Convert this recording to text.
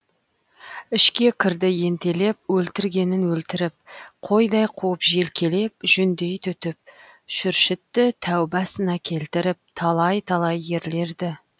ішке кірді ентелеп өлтіргенін өлтіріп қойдай қуып желкелеп жүндей түтіп шүршітті тәубасына келтіріп талай талай ерлерді